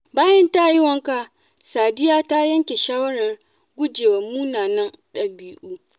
Bayan ya yi wanka, Sadiya ta yanke shawarar gujewa munanan dabi’u.